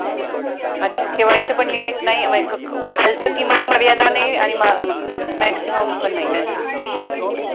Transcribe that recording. अच्छा ठेवायचं पण limit नाही आहे म्हणजे किमान मर्यादा नाही आणि maximum पण नाही